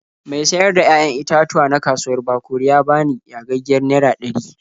Mai sayar da 'ya'yan itatuwa na kauwar Bakori ya bani yagaggiyar naira ɗari.